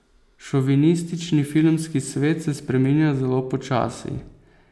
Šovinistični filmski svet se spreminja zelo počasi.